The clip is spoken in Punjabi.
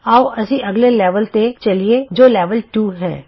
ਆਉ ਅਸੀਂ ਅਗਲੇ ਲੈਵਲ ਤੇ ਚਲੀਏ ਜੋ ਲੈਵਲ 2 ਹੈ